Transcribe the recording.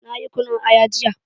Nayi kunun aya jiya.